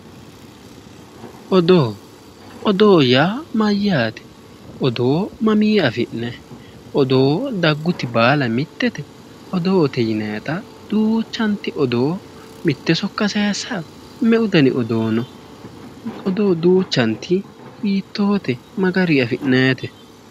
Odoo odoo yaa mayyaate odoo mamii afi'nayi odoo dagguti baala mittete odoote yinayita duuchanti odoo mitte sokka sayissawo me'u dani odoo no odoo duuchanti hiittoote ma gariyi afi'nayite